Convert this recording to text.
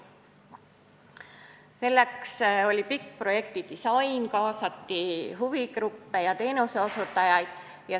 Selleks korraldati pikk projektidisain, kuhu kaasati huvigruppe ja teenuseosutajaid.